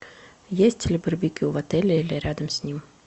есть ли барбекю в отеле или рядом с ним